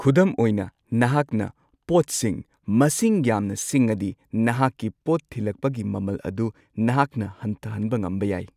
ꯈꯨꯗꯝ ꯑꯣꯏꯅ, ꯅꯍꯥꯛꯅ ꯄꯣꯠꯁꯤꯡ ꯃꯁꯤꯡ ꯌꯥꯝꯅ ꯁꯤꯡꯉꯗꯤ ꯅꯍꯥꯛꯀꯤ ꯄꯣꯠ ꯊꯤꯜꯂꯛꯄꯒꯤ ꯃꯃꯜ ꯑꯗꯨ ꯅꯍꯥꯛꯅ ꯍꯟꯊꯍꯟꯕ ꯉꯝꯕ ꯌꯥꯏ꯫